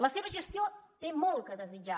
la seva gestió té molt a desitjar